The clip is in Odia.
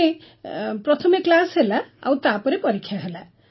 ମାନେ ପ୍ରଥମେ କ୍ଲାସ୍ ହେଲା ଆଉ ତାପରେ ପରୀକ୍ଷା ହେଲା